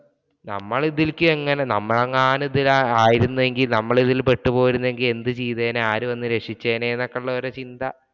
നമ്മളിതിലേക്ക് എങ്ങനെ നമ്മളെങ്ങാനും ഇതിൽ ആയിരുന്നെങ്കിൽ നമ്മൾ ഇതീ പെട്ടു പോയിരുന്നെങ്കില്‍ എന്ത് ചെയ്തേനേ? ആരു വന്നു രക്ഷിച്ചേനെ എന്നൊക്കെയുള്ള ഒരു ചിന്ത